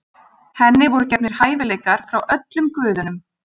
Henni voru gefnir hæfileikar frá öllum guðunum.